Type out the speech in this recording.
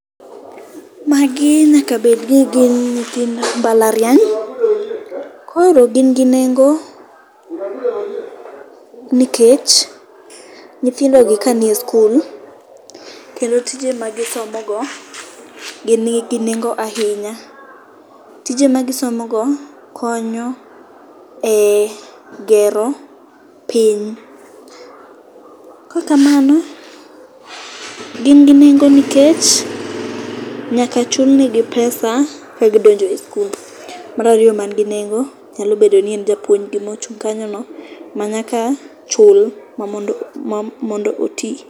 Magi nyaka bedni ni gin ntithind mbalariany. Koro gin gi nengo nikech nyithindogi kanie skul, kendo tije magisomogo, be nigi nengo ahinya. Tije magisomogo konyo e gero piny. Kokamano, gin gi nengo nikech nyaka chul negi pesa eka gidonjo e skul. Mar ariyo ma nigi nengo nyalo bedo ni en japuonjgi mochung' kanyono, manyaka chul mondo oti.